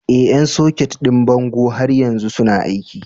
Ee, ƴan soket ɗin bango har yanzu suna aiki.